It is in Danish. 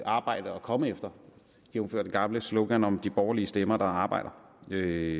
arbejde at komme efter jævnfør det gamle slogan om de borgerlige stemmer der arbejder det